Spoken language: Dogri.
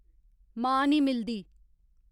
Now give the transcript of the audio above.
मां निं मिलदी